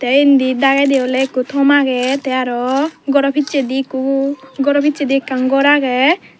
endi dagendi oley ikko tom agey tey aro goro pissedi ikko goro pissedi ekkan gor agey.